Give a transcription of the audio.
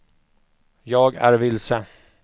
jag är vilse